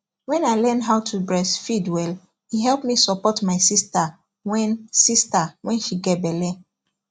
when i learn how to breastfeed welle help me support my sister when sister when she get belle